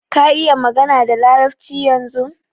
Ka iƴa magana da larabci ƴanzun?